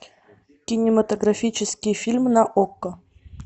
кинематографический фильм на окко